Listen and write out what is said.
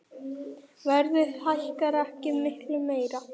Verðið hækkar ekki mikið meira.